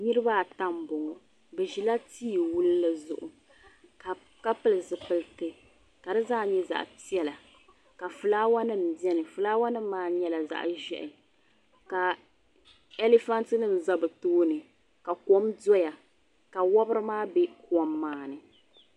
Niriba ata n boŋɔ bɛ ʒila tiwulli zuɣu ka pili zipilti ka di zaa nyɛ zaɣa piɛla ka filaawaasi nima biɛni filaawa nima maa nyɛla zaɣa ʒehi ka elifanti nima za bɛ tooni ka kom doya ka wobri maa be kom maa ni.